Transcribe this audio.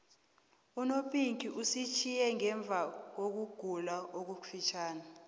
unopinki usitjhiye ngemvakokugula okufitjhazana